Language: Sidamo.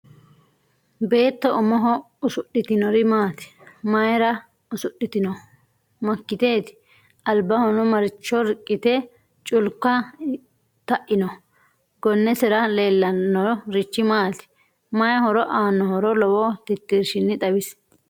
Beetto umoho usudhitinori maati? mayiira usudhitinno? makiteeti? alibahonno maricho riqite culika ta'inno? gonnesera leelanno rich maati? mayii horo aanohoro lowo titirishinni xawisi?